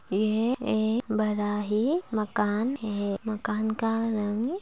ये है एक बड़ा ही मकान--